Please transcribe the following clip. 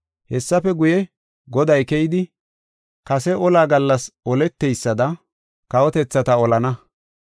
Hessafe guye, Goday keyidi, kase ola gallas oleteysada kawotethata olana.